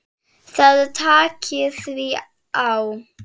Það taki því á.